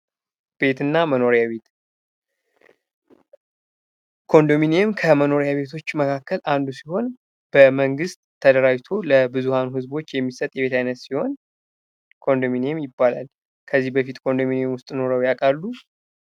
ቤት እና መኖሪያ ቤት ኮንዶሚኒየም ከመኖሪያ ቤቶች መካከል አንዱ ሲሆን በመንግስት ተደራጅቶ ለብዙሀን ህዝቦች የሚሰጥ የቤት ዓይነት ሲሆን ኮንዶሚኒየም ይባላል። ከዚህ በፊት ኮንዶሚኒየም ውስጥ ኑሮ ያውቃሉ?